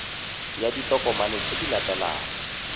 ya ditokomane tse di latelang